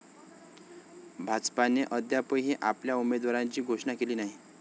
भाजपाने अद्यापही आपल्या उमेदवारांची घोषणा केली नाही.